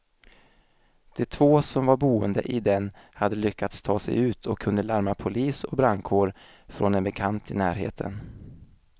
De två som var boende i den hade lyckats ta sig ut och kunde larma polis och brandkår från en bekant i närheten.